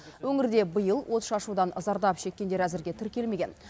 өңірде биыл отшашудан зардап шеккендер әзірге тіркелмеген